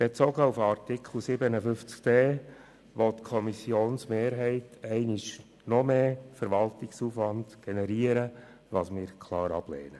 Bezogen auf Artikel 57d (neu) will die Kommissionsmehrheit noch einmal mehr Verwaltungsaufwand generieren, was wir klar ablehnen.